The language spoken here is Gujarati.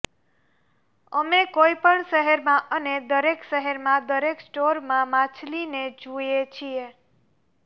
અમે કોઈપણ શહેરમાં અને દરેક શહેરમાં દરેક સ્ટોરમાં માછલીને જુએ છીએ